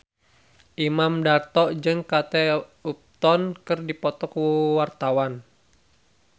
Imam Darto jeung Kate Upton keur dipoto ku wartawan